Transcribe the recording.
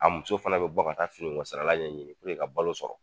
A muso fana be bɔ ka taa fini ko sarala ɲɛ ɲini ka balo sɔrɔ.